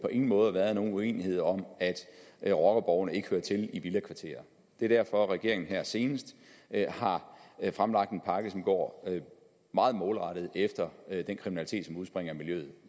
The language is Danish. på ingen måde været nogen uenighed om at rockerborgene ikke hører til i villakvarterer det er derfor regeringen her senest har fremlagt en pakke som går meget målrettet efter den kriminalitet som udspringer af miljøet